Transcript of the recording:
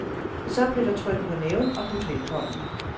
Så blev der trykket på næven og budt velkommen.